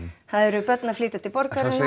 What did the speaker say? það eru börn að flytja til borgarinnar